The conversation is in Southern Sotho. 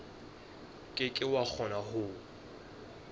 ke ke wa kgona ho